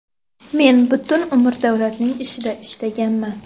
Men butun umr davlatning ishida ishlaganman.